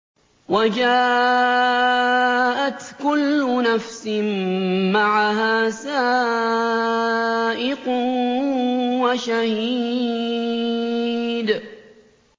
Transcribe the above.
وَجَاءَتْ كُلُّ نَفْسٍ مَّعَهَا سَائِقٌ وَشَهِيدٌ